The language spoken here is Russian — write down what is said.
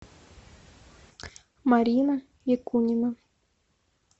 марина якунина